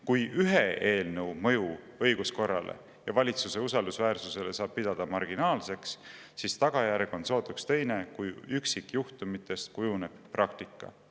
Kui ühe eelnõu mõju õiguskorrale ja valitsuse usaldusväärsusele saab pidada marginaalseks, siis tagajärg on sootuks teine, kui üksikjuhtumitest kujuneb praktika.